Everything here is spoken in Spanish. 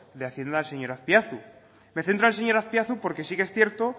de hacienda el señor azpiazu me centro en el señor azpiazu porque sí que es cierto